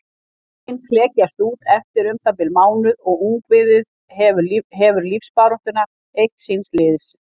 Eggin klekjast út eftir um það bil mánuð og ungviðið hefur lífsbaráttuna eitt síns liðs.